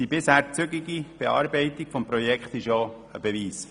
Die bisher zügige Bearbeitung des Projekts ist hierfür ein Beweis.